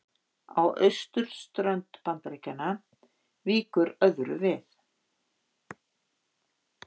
Á austurströnd Bandaríkjanna víkur öðru við.